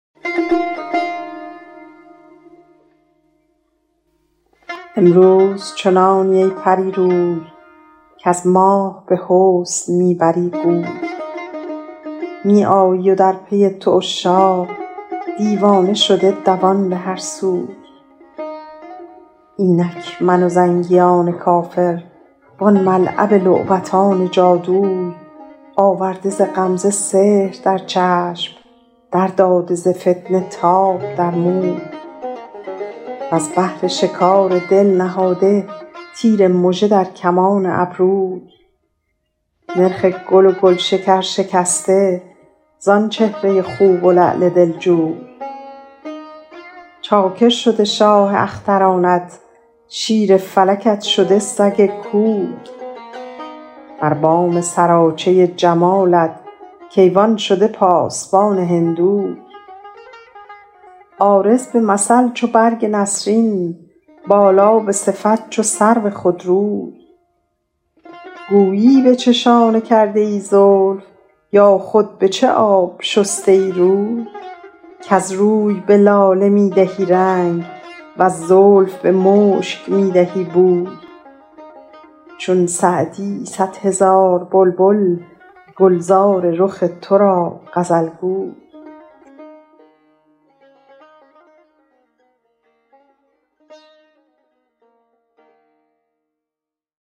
امروز چنانی ای پری روی کز ماه به حسن می بری گوی می آیی و در پی تو عشاق دیوانه شده دوان به هر سوی اینک من و زنگیان کافر وان ملعب لعبتان جادوی آورده ز غمزه سحر در چشم در داده ز فتنه تاب در موی وز بهر شکار دل نهاده تیر مژه در کمان ابروی نرخ گل و گلشکر شکسته زآن چهره خوب و لعل دلجوی چاکر شده شاه اخترانت شیر فلکت شده سگ کوی بر بام سراچه جمالت کیوان شده پاسبان هندوی عارض به مثل چو برگ نسرین بالا به صفت چو سرو خودروی گویی به چه شانه کرده ای زلف یا خود به چه آب شسته ای روی کز روی به لاله می دهی رنگ وز زلف به مشک می دهی بوی چون سعدی صد هزار بلبل گلزار رخ تو را غزل گوی